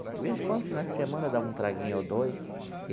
De vez em quando finais de semana, eu dava um traguinho ou dois.